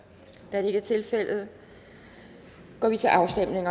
da det ikke er tilfældet går vi til afstemning